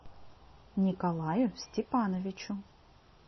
николаю степановичу